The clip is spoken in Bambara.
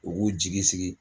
U g'u jigi sigi